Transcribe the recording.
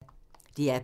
DR P3